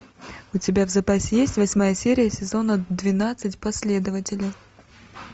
у тебя в запасе есть восьмая серия сезона двенадцать последователи